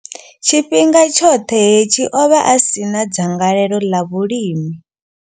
Tshifhinga tshoṱhe hetshi, o vha a si na dzangalelo ḽa vhulimi.